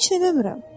Heç nə eləmirəm.